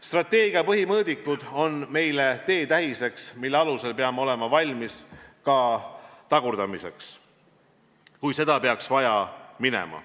Strateegia põhimõõdikud on meile teetähisteks, mille alusel peame olema valmis ka tagurdamiseks, kui seda peaks vaja minema.